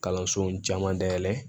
Kalansow caman dayɛlɛ